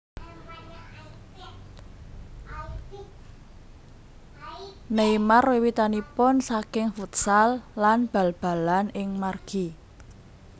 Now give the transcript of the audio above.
Neymar wiwitanipun saking futsal lan bal balan ing margi